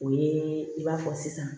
O ye i b'a fɔ sisan